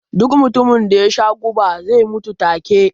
Duk mutumin da yasha guba zai mutu ta ke